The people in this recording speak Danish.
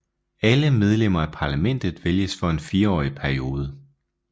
Alle medlemmer af parlamentet vælges for en fireårig periode